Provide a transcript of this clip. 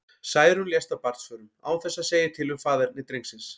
Særún lést af barnsförum, án þess að segja til um faðerni drengsins.